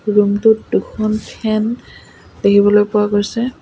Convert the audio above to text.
Room টোত দুখন fan দেখিবলৈ পোৱা গৈছে।